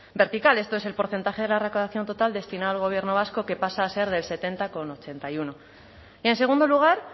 vertical esto es el porcentaje de la recaudación total destinado al gobierno vasco que pasa a ser del setenta coma ochenta y uno y en segundo lugar